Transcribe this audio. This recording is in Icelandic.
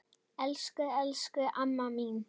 Elsku, elsku amma mín.